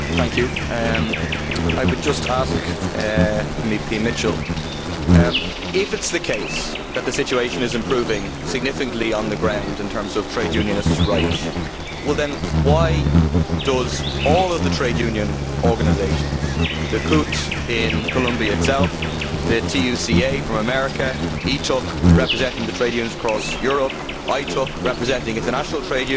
Mr Mitchell, if it is the case that the situation is improving significantly on the ground in terms of trade unionists' rights, well then why are all of the trade union organisations the CUT in Colombia itself, the TUCA from America, ETUC representing the trade unions across Europe, ITUC representing international trade unions, ICTU representing the trade unions in Ireland